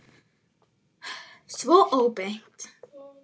Svona óbeint.